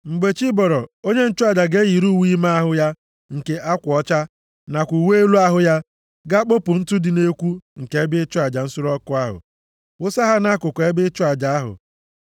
Mgbe chi bọrọ, onye nchụaja ga-eyiri uwe ime ahụ ya nke akwa ọcha, nakwa uwe elu ahụ ya, gaa kpopu ntụ dị nʼekwu nke ebe ịchụ aja nsure ọkụ ahụ, wụsa ha nʼakụkụ ebe ịchụ aja ahụ.